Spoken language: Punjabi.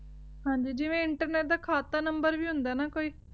ਹਾਂਜੀ ਜਿਵੇਂ internet ਦਾ ਖਾਤਾ ਨੰਬਰ ਵੀ ਹੁੰਦਾ ਨਾ ਕੋਈ